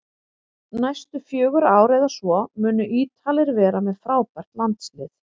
Næstu fjögur ár eða svo munu Ítalir vera með frábært landslið